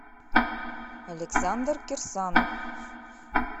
александр кирсанов